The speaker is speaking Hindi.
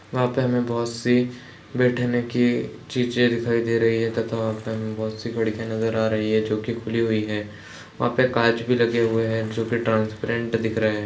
वहाँ पे हमें बोहत -सी बैठने की चीजे दिखाई दे रही है तथा वहाँ पे हमें बोहत -सी खिड़कियाँ नजर आ रही है जोकि खुली हुई है वहाँ पे काँच भी लगे हुए है जोकि ट्रांसपेरेंट दिख रहे हैं।